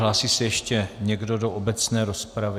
Hlásí se ještě někdo do obecné rozpravy?